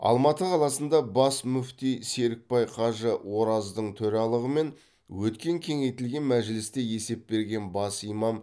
алматы қаласында бас мүфти серікбай қажы ораздың төрағалығымен өткен кеңейтілген мәжілісте есеп берген бас имам